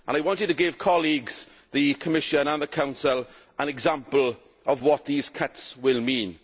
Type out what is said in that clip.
I wanted to give colleagues, the Commission and the Council, an example of what these cuts will mean.